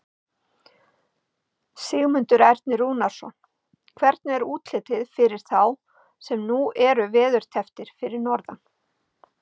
Sigmundur Ernir Rúnarsson: Hvernig er útlitið fyrir þá sem nú eru veðurtepptir fyrir norðan?